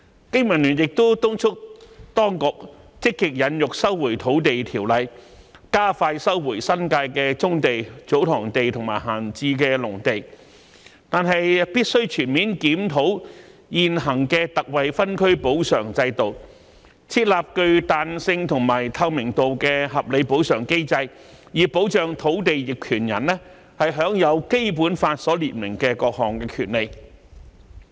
經民聯亦敦促當局積極引用《收回土地條例》，加快收回新界的棕地、祖堂地及閒置農地，但必須全面檢討現行的特惠分區補償制度，設立具彈性和透明度的合理補償機制，以保障土地業權人享有《基本法》所列明的各項權利。